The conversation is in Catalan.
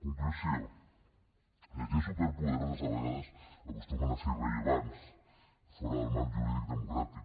conclusió les lleis superpoderoses a vegades acostumen a ser irrellevants fora del marc jurídic democràtic